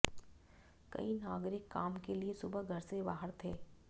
कई नागरिक काम के लिए सुबह घर से बाहर थे